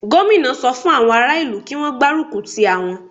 Gómìnà sọ fún àwọn ará ìlú kí Wọ́n gbárùkù ti àwọn.